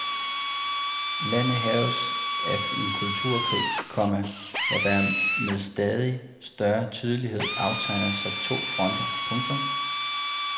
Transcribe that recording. Landet hærges af en kulturkrig, komma hvor der med stadig større tydelighed aftegner sig to fronter. punktum